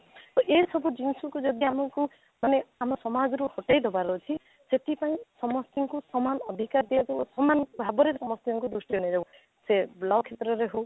ତ ଏ ସବୁ ଜିନିଷକୁ ଯଦି ଆମେ ମାନେ ଆମ ସମାଜରୁ ହଟେଇ ଦେବାର ଅଛି ସେଠି ପାଇଁ ସମସ୍ତଙ୍କୁ ସମାନ ଅଧିକାର ଦିଆଯାଉ ସମାନ ଭାବରେ ସମସ୍ତଙ୍କୁ ଦୃଷ୍ଟିରେ ନିଆଯାଉ ସେ law କ୍ଷେତ୍ରରେ ହଉ